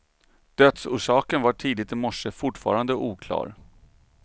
Dödsorsaken var tidigt i morse fortfarande oklar.